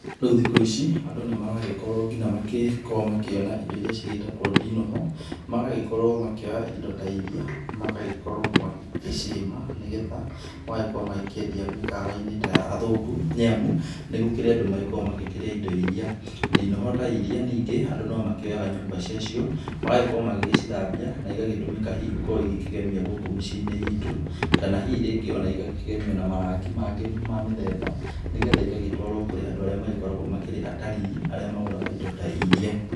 Rĩu thikũ ici andũ nĩmaragĩkorwo nginya makĩ korwo makĩona indo ciĩtagwo ndinoho, magagĩkorwo makĩoya indo ta iria magagĩkoro magĩcirĩma nĩgetha magagĩkorwo makĩendia mĩkawainĩ ta ya athũngũ nĩamu ,nĩgũkĩrĩ andũ magĩkĩrĩa indo iria, ndinohi ta iria ningĩ andũ nomakĩoyaga nyũmba cia cio, magagĩkorwo magagĩithambia na igatũmĩka hihi ikorwe ikĩgemia gukũ mĩciĩnĩ itũ ,kana hihi iria ingĩ igakĩgemio na marangi mangĩ ma mĩthemba nĩgetha igagĩtwarwo kũrĩa andũ arĩa makoragwo ta atarii magũraga indo ta iria.